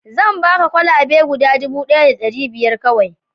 zan baka kwalabe guda dubu ɗaya da ɗari biyar kawai